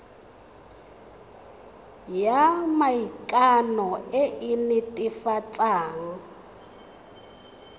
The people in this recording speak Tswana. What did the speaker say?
ya maikano e e netefatsang